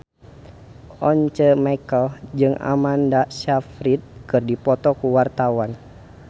Once Mekel jeung Amanda Sayfried keur dipoto ku wartawan